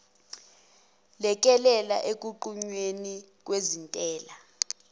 lekelele ekunqunyweni kwezintela